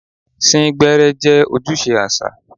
Sín gbẹ́ẹ́rẹ́ jẹ́ ojúṣe àṣà.